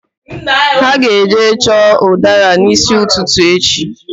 Ha ga-eje chọọ ụdara n'ísí ụtụtụ echi